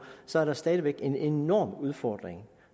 så er der stadig væk en enorm udfordring